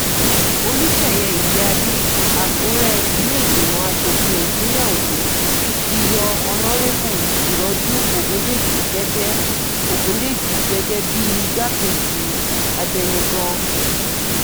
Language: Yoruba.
olùṣeyẹ ìyíáde àkùrẹ ilẹ̀-ìgbìmọ̀ asòfin ìpínlẹ̀ ondo ti yọ ọ̀nọ́rẹ́bù ìrọ́jú ọ̀gúndéjì gẹ́gẹ́ ọ̀gúndéjì gẹ́gẹ́ bíi igbákejì abẹnugan